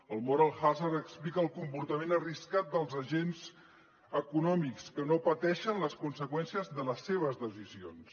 el moral hazard explica el comportament arriscat dels agents econòmics que no pateixen les conseqüències de les seves decisions